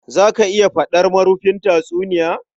Za ka iya faɗar marufin tatsuniya?